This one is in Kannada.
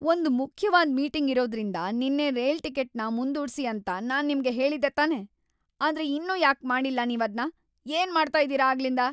ಒಂದ್‌ ಮುಖ್ಯವಾದ್‌ ಮೀಟಿಂಗ್‌ ಇರೋದ್ರಿಂದ ನಿನ್ನೆ ರೈಲ್ ಟಿಕೆಟ್‌ನ ಮುಂದೂಡ್ಸಿ ಅಂತ ನಾನ್ ನಿಮ್ಗೆ ಹೇಳಿದ್ದೆ ತಾನೇ! ಆದ್ರೆ ಇನ್ನೂ ಯಾಕ್‌ ಮಾಡಿಲ್ಲ ನೀವದ್ನ, ಏನ್‌ ಮಾಡ್ತಾ ಇದೀರ ಆಗ್ಲಿಂದ?